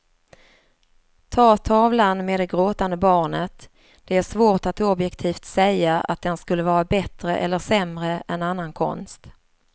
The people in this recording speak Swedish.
Ta tavlan med det gråtande barnet, det är svårt att objektivt säga att den skulle vara bättre eller sämre än annan konst.